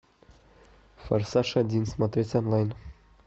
форсаж один смотреть онлайн